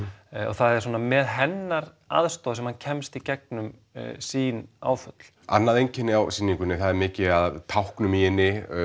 það er með hennar aðstoð sem hann kemst í gegnum sín áföll annað einkenni á sýningunni það er mikið af táknum í henni